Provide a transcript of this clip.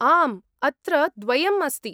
आम्, अत्र द्वयम् अस्ति।